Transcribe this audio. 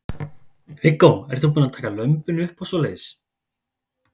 Viggó: Ertu búin að fá að taka lömbin upp og svoleiðis?